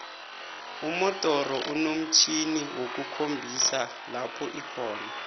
umodoro inomtjhjniwokukhombisa lopho ikhona